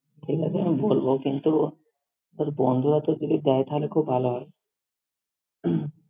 ঠিক আছে! আমি বলব কিন্তু, বন্ধুরা তো যদি দেয় তাহলে খুব ভালো হয়।